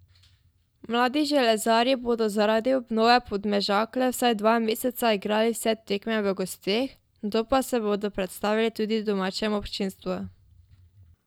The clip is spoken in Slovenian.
Mladi železarji bodo zaradi obnove Podmežakle vsaj dva meseca igrali vse tekme v gosteh, nato pa se bodo predstavili tudi domačemu občinstvu.